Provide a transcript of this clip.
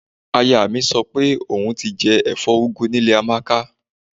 Aya mi sọ pé òun ti jẹ ẹ̀fọ́ úgú ní ilé Amáka